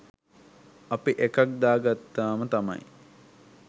අපි එකක් දාගත්තාම තමයි